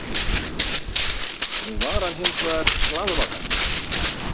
Nú var hann hinsvegar glaðvakandi.